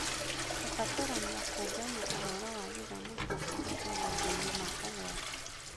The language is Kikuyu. Kũbatarania kũũngania ũhoro wa gĩthomo kĩa airĩtu maũndũ-inĩ ma ũgwati